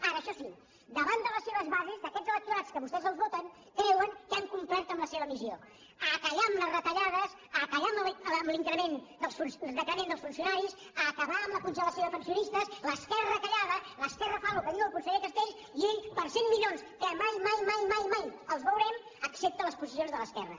ara això sí davant de les seves bases d’aquests electorats que a vostès els voten creuen que han complert amb la seva missió a callar amb la retallades a callar amb el decrement dels funcionaris a acabar amb la congelació de pensionistes l’esquerra callada l’esquerra fa el que diu el conseller castells i ell per cent milions que mai mai mai els veurem accepta les posicions de l’esquerra